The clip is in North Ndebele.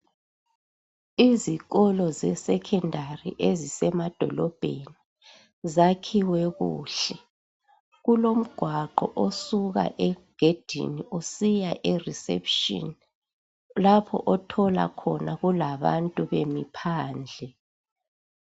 Izikolo zesekhondari ezisemadolobheni zakhiwe kuhle , kulogwaqo osuka egedini usiya e reception lapho othola khona kulabantu bemi phandle.